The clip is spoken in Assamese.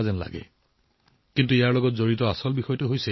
কিন্তু কথাটো বেলেগ এই পৰিঘটনাটোও এটা সাধাৰণ কাৰণৰ সৈতে জড়িত